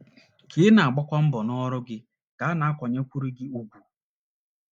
Ka ị na - agbakwu mbọ n’ọrụ gị ka a na - akwanyekwuru gị ùgwù.